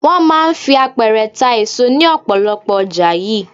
Wọ́n máa ń fi àpẹrẹ ta èso ní ọ̀pọ̀lọpọ̀ ọjà yìí.